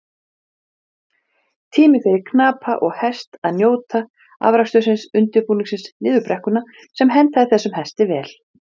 Einnig skiptir máli hvernig miðlarnir eru geymdir.